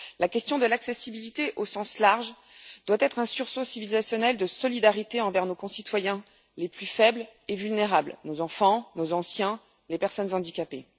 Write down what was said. La question de l'accessibilité au sens large doit être un sursaut civilisationnel de solidarité envers nos concitoyens les plus faibles et vulnérables nos enfants, nos anciens, les personnes handicapées.